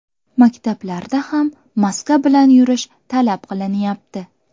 Maktablarda ham maska bilan yurish talab qilinyapti.